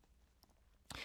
DR K